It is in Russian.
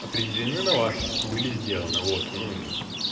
определены на вас были сделаны вот ну